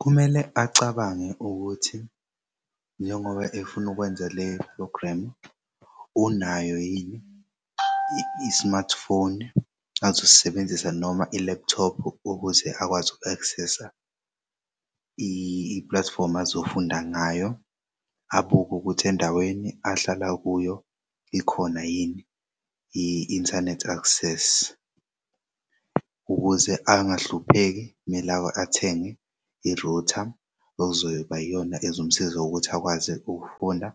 Kumele acabange ukuthi njengoba efuna ukwenza le-program unayo yini i-smartphone azosisebenzisa noma i-laptop ukuze akwazi uku-access-sa i-platform azofunda ngayo abuke ukuthi endaweni ahlala kuyo ikhona yini i-internet access ukuze angahlupheki kumele athenge i-router okuzoba yona ezomsiza ngokuthi akwazi ukufunda